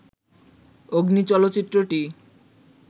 'অগ্নি' চলচ্চিত্রটি